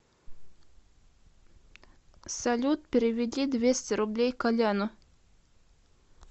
салют переведи двести рублей коляну